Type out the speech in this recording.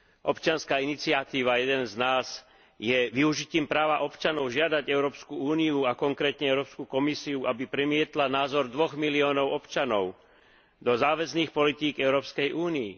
Občianska iniciatíva Jeden z nás je využitím práva občanov žiadať Európsku úniu a konkrétne Európsku komisiu, aby premietla názor dvoch miliónov občanov do záväzných politík Európskej únie.